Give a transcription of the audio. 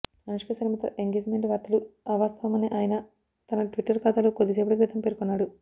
అనుష్కశర్మతో engagement వార్తలు అవాస్తవం అని ఆయన తన ట్విట్టర్ ఖాతాలో కొద్దిసేపటి క్రితం పేర్కొన్నాడు